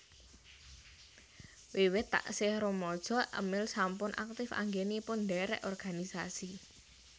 Wiwit taksih rumaja Emil sampun aktif anggénipun ndhèrèk organisasi